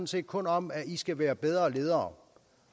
set kun om at i skal være bedre ledere